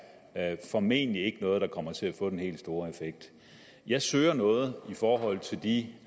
er formentlig ikke noget der kommer til at få den helt store effekt jeg søger noget i forhold til de